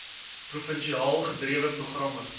provinsiaal gedrewe programme